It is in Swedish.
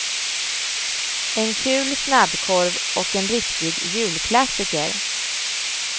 En kul snabbkorv och en riktig julklassiker.